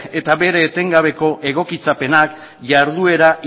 eta bere etengabeko egokitzapena jarduera